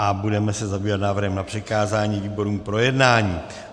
A budeme se zabývat návrhem na přikázání výborům k projednání.